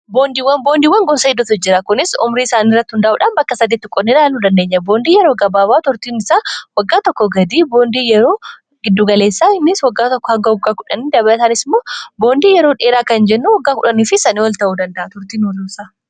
Boondiiwwan gosa hedduutu jira. Kunis umrii isaanii irratti hundaa'uudhaan bakka saditti qoodnee ilaalu dandeenya. Boondii yeroo gabaabaa turtiin isaa waggaa tokko gadii , boondii yeroo giddugaleessa innis waggaa tokko hanga waggaa tokkoo , boondii yeroo dheeraa kan jennu waggaa 10 fi isaa ol ta'uu danda'a turtiin isaa.